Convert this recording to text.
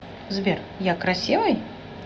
сбер я красивый